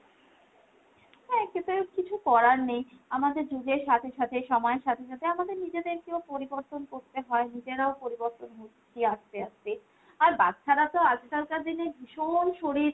হ্যাঁ খেতে হবে কিছু করার নেই। আমাদের যুগের সাথে সাথে সময়ের সাথে সাথে আমাদের নিজেদের কেও পরিবর্তন করতে হয়। নিজেরাও পরিবর্তন হচ্ছি আস্তে আস্তে। আর বাচ্ছারা তো আজকালকার দিনে ভীষণ শরীর,